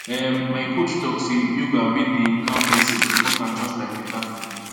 ehm my coach talk say yoga wey dey calm person important just like better food